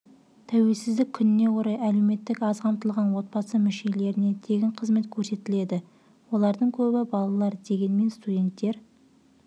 тәуелсіздік күніне орай әлеуметтік аз қамтылған отбасы мүшелеріне тегін қызмет көрсетіледі олардың көбі балалар дегенмен студенттер